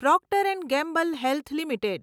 Procter and Gamble health limited